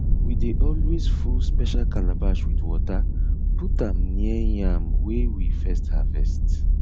we dey always full special calabash with water put am near yam wey we first harvest